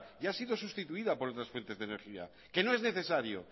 ya ha sido sustituida por otras fuentes de energía que no es necesario